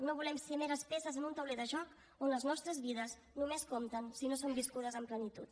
no volem ser meres peces en un tauler de joc on les nostres vides només compten si no són viscudes en plenitud